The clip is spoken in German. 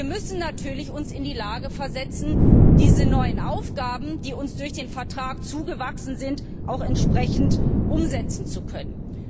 Wir müssen uns natürlich in die Lage versetzen, diese neuen Aufgaben, die uns durch den Vertrag erwachsen sind, auch entsprechend umsetzen zu können.